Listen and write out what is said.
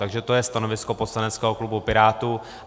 Takže to je stanovisko poslaneckého klubu Pirátů.